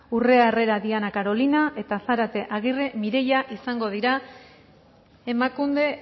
urrea herrera diana carolina eta zarate agirre mireia izango dira emakunde